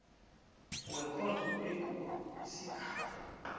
wekhotho ekulu isigaba